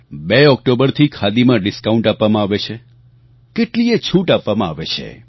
૨ ઓક્ટોબરથી ખાદીમાં ડિસ્કાઉન્ટ આપવામાં આવે છે કેટલીયે છૂટ આપવામાં આવે છે